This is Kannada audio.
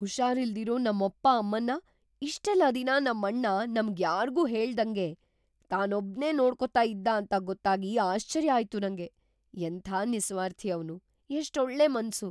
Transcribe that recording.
ಹುಷಾರಿಲ್ದಿರೋ ನಮ್ಮಪ್ಪ ಅಮ್ಮನ್ನ ಇಷ್ಟೆಲ್ಲ ದಿನ ನಮ್ಮಣ್ಣ ನಮ್ಗ್‌ ಯಾರ್ಗೂ ಹೇಳ್ದಂಗೆ ತಾನೊಬ್ನೇ ನೋಡ್ಕೋತಾ ಇದ್ದ ಅಂತ ಗೊತ್ತಾಗಿ ಆಶ್ಚರ್ಯ ಆಯ್ತು ನಂಗೆ. ಎಂಥ ನಿಸ್ವಾರ್ಥಿ ಅವ್ನು...ಎಷ್ಟೊಳ್ಳೆ ಮನ್ಸು!